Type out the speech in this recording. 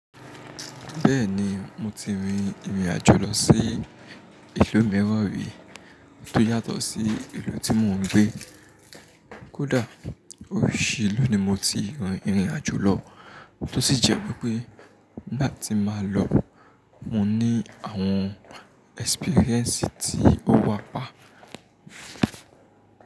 Bẹ́ẹ̀ni, mo ti rin ìrìn àjò lọ sí ìlú mìíràn rí tó yàtọ̀ sí ìlú tí mò ń gbé. Kódà óṣù yìí ni mo ti rin ìrìn àjò lọ, tó sì jẹ́ wípé nígbà tí màá lọ, mo ní àwọn experience tí ó wà pa.